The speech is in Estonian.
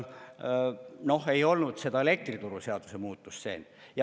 Noh, ei olnud seda elektrituruseaduse muutust sees.